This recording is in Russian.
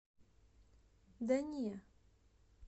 да не